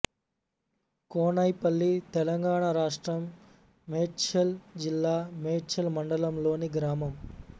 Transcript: కోనైపల్లి తెలంగాణ రాష్ట్రం మేడ్చల్ జిల్లా మేడ్చల్ మండలంలోని గ్రామం